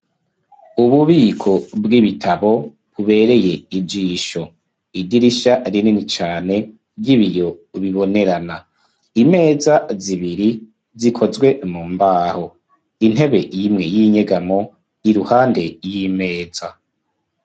Ububiko bw'ibitabo bubereye ijisho idirisha rinini cane ry'ibiyo bibonerana. Imeza zibiri zikozwe mu mbaho; intebe imwe y'inyegamo yiruhande y'imeza.